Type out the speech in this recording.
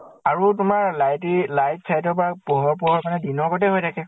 আৰু তোমাৰ light ই light চাইত ৰ পৰা পোহৰ পৰাৰ কাৰণে দিনৰ হৈ থাকে।